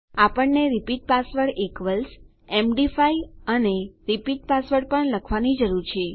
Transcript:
આપણને repeat password equals MD five અને repeat password પણ લખવાની જરૂર છે